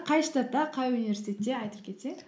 қай штатта қай университетте айтып кетсең